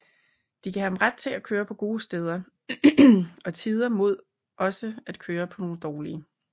De gav ret til at køre på gode steder og tider mod også at køre på nogle dårlige